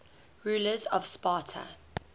rulers of sparta